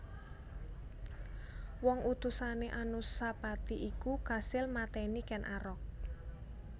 Wong utusané Anusapati iku kasil matèni Ken Arok